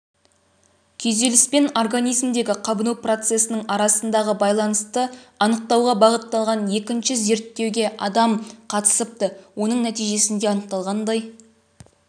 күйзеліс пен организмдегі қабыну процесінің арасындағы байланысты анықтауға бағытталған екінші зерттеуге адам қатысыпты оның нәтижесінде анықталғандай